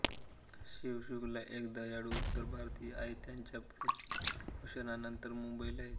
शिव शुक्ला एक दयाळू उत्तर भारतीय आहे त्याच्या प्रमोशननंतर मुंबईला येतो